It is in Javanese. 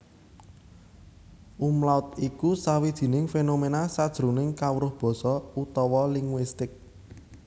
Umlaut iku sawijining fénoména sajroning kawruh basa utawa linguistik